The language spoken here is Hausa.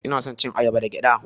Ina son cin ayaba da gyaɗa.